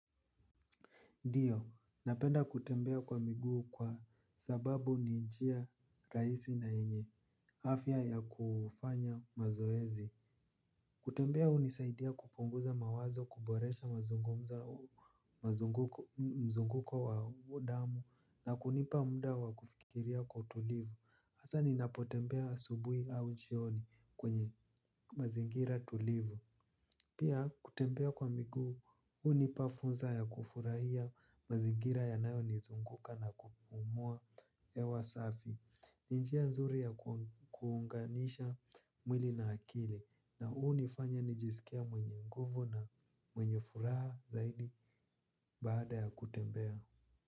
Ndiyo, napenda kutembea kwa miguu kwa sababu ni njia rahisi na yenye, afya ya kufanya mazoezi. Kutembea hunisaidia kupunguza mawazo kuboresha mazungumza mzunguko wa damu na kunipa muda wa kufikiria kwa utulivu. Hasa ninapotembea asubuhi au jioni kwenye mazingira tulivu. Pia kutembea kwa miguu, hunipa fursa ya kufurahia mazingira yanayonizunguka na kupumua hewa safi. Ni njia nzuri ya kuunganisha mwili na akili na hunifanya nijisikie mwenye nguvu na mwenye furaha zaidi baada ya kutembea.